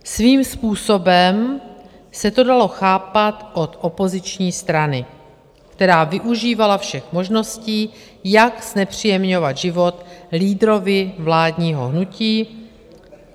Svým způsobem se to dalo chápat od opoziční strany, která využívala všech možností, jak znepříjemňovat život lídrovi vládního hnutí.